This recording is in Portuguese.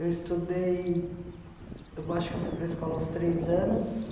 Eu estudei, eu acho que fui para a escola aos três anos.